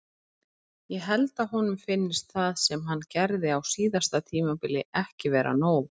Ég held að honum finnist það sem hann gerði á síðasta tímabili ekki vera nóg.